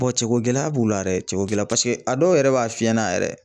cɛko gɛlɛya b'u la dɛ, cɛ cogoko gɛlɛya paseke a dɔw yɛrɛ b'a f'i ɲɛna yɛrɛ.